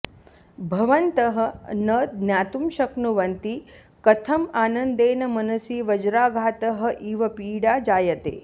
भवन्तः न ज्ञातुं शक्नुवन्ति कथम् आनन्देन मनसि वज्राघातः इव पीडा जायते